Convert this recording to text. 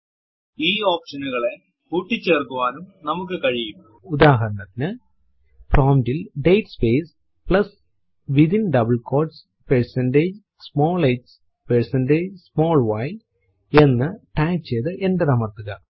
ഈ option നുകളെ കൂട്ടിചേർക്കുവാനും നമുക്ക് കഴിയുംഉദാഹരണത്തിനു പ്രോംപ്റ്റ് ൽ date space plus within double quotes percentage small h percentage small y എന്ന് ടൈപ്പ് ചെയ്തു എന്റർ അമർത്തുക